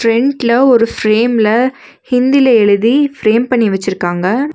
ஃபிரண்ட்ல ஒரு ஃபிரேம் ல ஹிந்தில எழுதி ஃபிரேம் பண்ணி வெச்சிருக்காங்க.